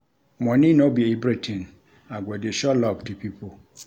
Money no be everytin, I go dey show love to pipo.